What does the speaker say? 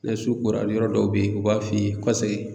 Ni su kora nin yɔrɔ dɔw be yen, u b'a f'i ye kɔ segin